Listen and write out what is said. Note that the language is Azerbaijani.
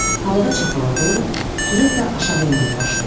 Havada çapaladı, sürətlə aşağı enməyə başladı.